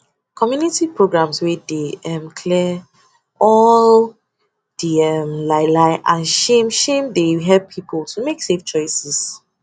community programs wey dey um clear all um di um lie lie and shame shame dey help people to make safe choices